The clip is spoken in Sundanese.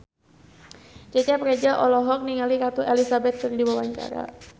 Cecep Reza olohok ningali Ratu Elizabeth keur diwawancara